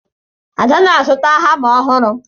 Ada na-azụta hama ọhụrụ